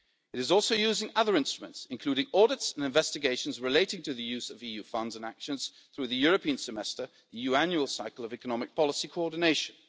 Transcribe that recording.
It is also using other instruments, including audits and investigations relating to the use of EU funds and actions through the European Semester, the EU annual cycle of economic policy coordination.